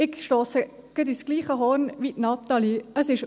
Ich stosse ins gleiche Horn wie Natalie Imboden.